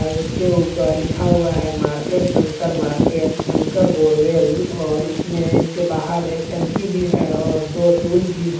उसके ऊपर लिखा हुआ है market Shankar market Shankar borewell और इसमें इसके बाहर एक टंकी भी है और दो टूल भी हैं।